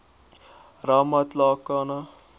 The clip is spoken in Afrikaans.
ramatlakane